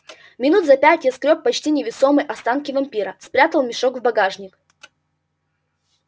минут за пять я сгрёб почти невесомые останки вампира спрятал мешок в багажник